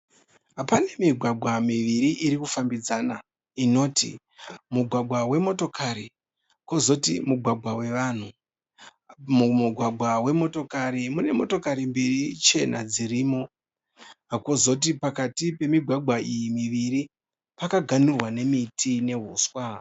Pane migwagwa miviri iri kufambidzana inoti mugwavha wemotokari kwozoti mugwagwa wevanhu. Mumugwagwa wemotokari mune motokari mbiri chena dzirimo. Kwozoti pakati pemigwagwa iyi miviri pakaganhurwa nemiti nehuswa.